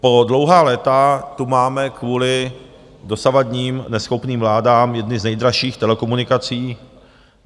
Po dlouhá léta tu máme kvůli dosavadním neschopným vládám jedny z nejdražších telekomunikací.